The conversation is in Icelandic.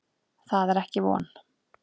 Það er ekki von.